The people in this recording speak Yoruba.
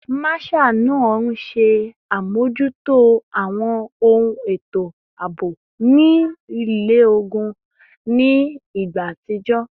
Marshal naa nṣe amojuto awọn eto aabo ni ile-ogun ni igba atijọ